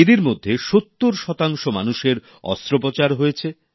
এদের মধ্যে সত্তর শতাংশ মানেুষর অস্ত্রোপচার করতে হয়েছে